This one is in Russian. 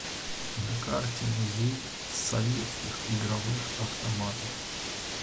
на карте музей советских игровых автоматов